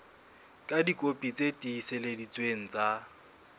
ka dikopi tse tiiseleditsweng tsa